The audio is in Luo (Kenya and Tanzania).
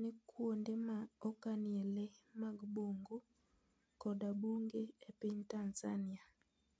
ne kuonde ma okanie le mag bungu koda bunge e piny Tanzania?